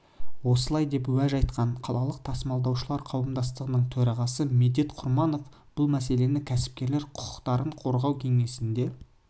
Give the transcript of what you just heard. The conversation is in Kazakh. осылай деп уәж айтқан қалалық тасымалдаушылар қауымдастығының төрағасы медет құрманов бұл мәселені кәсіпкерлер құқықтарын қорғау кеңесінде